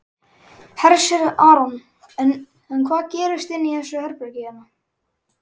Hersir Aron: En hvað gerist inni í þessu herbergi hérna?